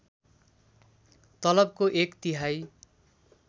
तलबको एक तिहाई